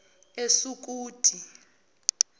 esukuti